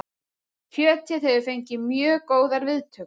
Kjötið hefur fengið mjög góðar viðtökur